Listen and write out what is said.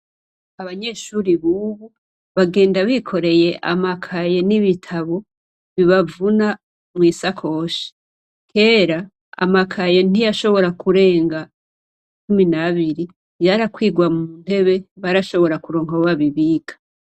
Abanyeshure bubu bagenda bikoreye amakaye n'ibitabo bibavuna mw'isakoshi. Kera amakaye ntiyashobora kurenga cumi n'abiri, yarakwiga mu ntebe ; barashobora kuronka aho babibika.